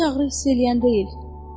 Heç ağrı hiss eləyən deyil.